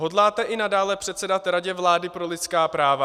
Hodláte i nadále předsedat Radě vlády pro lidská práva?